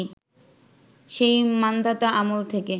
সেই মান্ধাতা আমল থেকে